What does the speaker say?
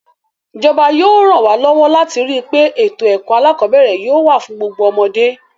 Ìjọba yóò ràn wá lọ́wọ́ láti rí pé ètò ẹ̀kọ́ alákọ̀ọ́bẹ̀ẹ̀rẹ̀ yóò wà fún gbogbo ọmọdé.